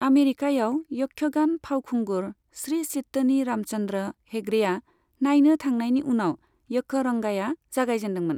आमेरिकायाव यक्षगान फावखुंगुर श्री चित्तनी रामचन्द्र हेगड़ेआ नायनो थांनायनि उनाव यक्षरंगाया जागायजेनदोंमोन।